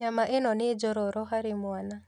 Nyama ĩno nĩ njororo harĩ mwana